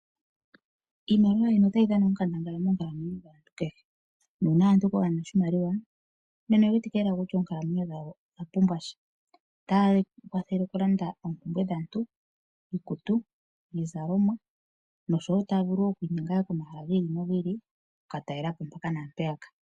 Iimaliwa ohayi dhana onkandangala moonkalamwenyo dhaantu kehe, nuuna omuntu kwaana oshimaliwa nena oye wetike lela kutya oonkalamwenyo dhawo odha pumbwa sha. Otayi kwathele oku landa oompumbwe dhaantu iikutu, iizalomwa noshowo taya vulu okwiinyenga komahala gi ili nogi ili oku ka talela po mpaka naampeya ka.